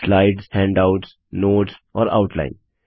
slides handouts notes और outline